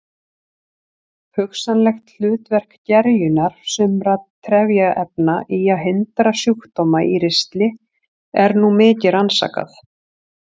Hugsanlegt hlutverk gerjunar sumra trefjaefna í að hindra sjúkdóma í ristli er nú mikið rannsakað.